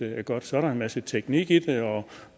er godt så er der en masse teknik i det og